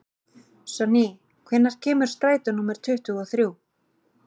Sonný, hvenær kemur strætó númer tuttugu og þrjú?